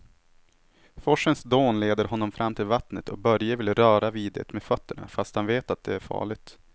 Forsens dån leder honom fram till vattnet och Börje vill röra vid det med fötterna, fast han vet att det är farligt.